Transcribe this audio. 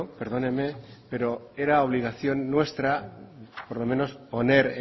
perdóneme pero era obligación nuestra por lo menos poner